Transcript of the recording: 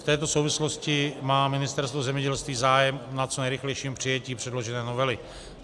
V této souvislosti má Ministerstvo zemědělství zájem na co nejrychlejším přijetí předložené novely.